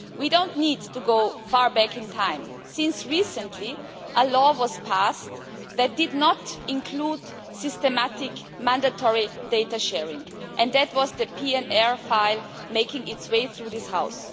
We do not need to go far back in time, since recently a law was passed that did not include systematic mandatory data sharing that was the PNR file making its way through this House.